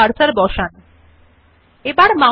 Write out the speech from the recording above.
place the cursor after the word mothers